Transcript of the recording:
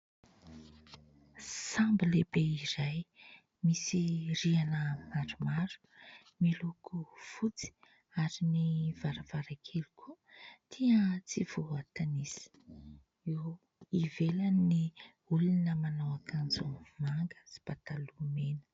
Sambo lehibe iray misy riana maromaro miloko fotsy ary ny varavaran-kely koa dia tsy voatanisa eo ivelany ny olona manao akanjo manga sy pataloha mena